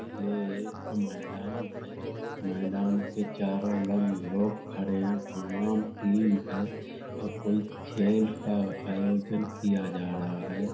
यह एक मैदान है मैदान के चारो लंग-लोग खड़े है तमाम टीम है और कोई खेल का आयोजन किया जा रहा है।